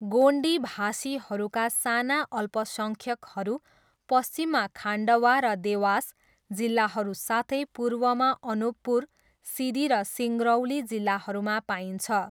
गोन्डी भाषीहरूका साना अल्पसङ्ख्यकहरू पश्चिममा खान्डवा र देवास जिल्लाहरू साथै पूर्वमा अनुपपुर, सिधी र सिङ्गरौली जिल्लाहरूमा पाइन्छ।